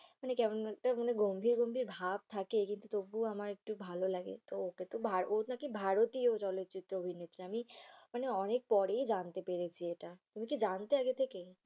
কেমন একটা গম্ভির গম্ভির ভাব থাকে কিন্তু তবু আমার একটু ভালো লাগে। ওকে তো ও নাকি ভারতীয় চলচ্চিত্র অভিনেত্রী আমি মানে অনেক পরে জানতে পেরেছি এটা। তুমি কি জানতে আগে থেকে?